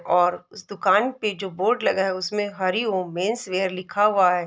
और उस दुकान पे जो बोर्ड लगा है उसमें हरिओम मेन्स वियर लिखा हुआ है।